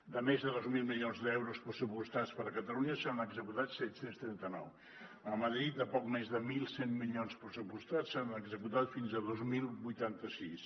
de més de dos mil milions d’euros pressupostats per a catalunya se n’han executat set cents i trenta nou a madrid de poc més de mil cent milions pressupostats se n’han executat fins a dos mil vuitanta sis